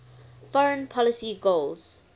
foreign policy goals